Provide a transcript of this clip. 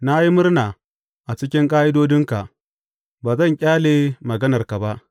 Na yi murna a cikin ƙa’idodinka; ba zan ƙyale maganarka ba.